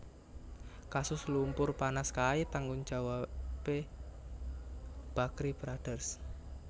Kasus lumpur panas kae tanggung jawabe Bakrie Brothers